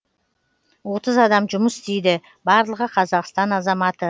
отыз адам жұмыс істейді барлығы қазақстан азаматы